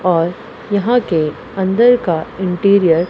और यहां के अंदर का इंटीरियर --